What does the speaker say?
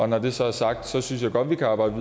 når det så er sagt synes jeg godt at vi kan arbejde